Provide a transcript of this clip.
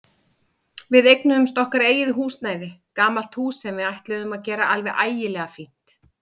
Við eignuðumst okkar eigið húsnæði, gamalt hús sem við ætluðum að gera alveg ægilega fínt.